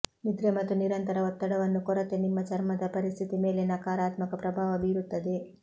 ನಿದ್ರೆ ಮತ್ತು ನಿರಂತರ ಒತ್ತಡವನ್ನು ಕೊರತೆ ನಿಮ್ಮ ಚರ್ಮದ ಪರಿಸ್ಥಿತಿ ಮೇಲೆ ನಕಾರಾತ್ಮಕ ಪ್ರಭಾವ ಬೀರುತ್ತವೆ